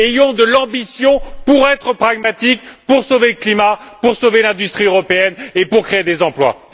Ayons de l'ambition pour être pragmatiques, pour sauver le climat, pour sauver l'industrie européenne et pour créer des emplois!